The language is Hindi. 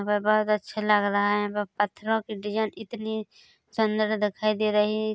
यहाँ पे बहुत अच्छा लग रहा है यहाँ पे पत्थरों की डिज़ाइन इतनी सुन्दर दिखाई दे रही है।